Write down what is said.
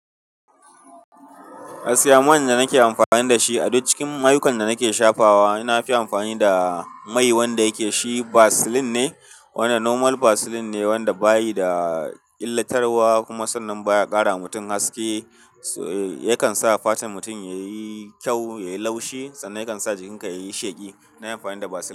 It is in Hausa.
Gaskiya, mai da nake amfani da shi a duk cikin ayyukan da nake shafawa, ina amfani da mai wanda yake shi Vaseline ne, wanda normal Vaseline ne, wanda bayi da illatarwa kuma sannan baya ƙara wa mutum haske. Yakan sa fatar mutum yayi kyau, yayi laushi sannan yakan sa jikinka yayi sheƙi. Na yi amfani da Vaseline.